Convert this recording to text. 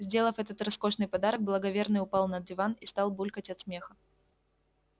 сделав этот роскошный подарок благоверный упал на диван и стал булькать от смеха